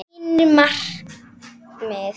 Mín markmið?